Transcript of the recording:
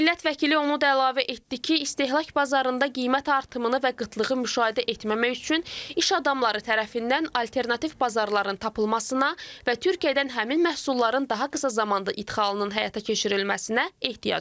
Millət vəkili onu da əlavə etdi ki, istehlak bazarında qiymət artımını və qıtlığı müşahidə etməmək üçün iş adamları tərəfindən alternativ bazarların tapılmasına və Türkiyədən həmin məhsulların daha qısa zamanda ixalının həyata keçirilməsinə ehtiyacı var.